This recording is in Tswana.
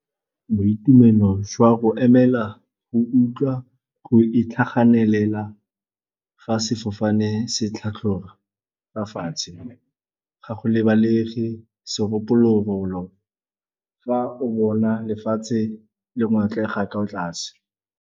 Boitumelo jwa go emela, go utlwa, go itlhaganelela ga sefofane se tlhatlhoga fa fatshe, ga go lebale segolobogolo fa o bona lefatshe le go ngotlega ko tlase.